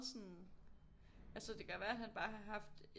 Sådan altså det kan jo være at han bare har haft